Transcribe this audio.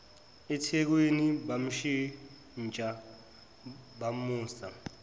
ethekwini bamshintsha bamusa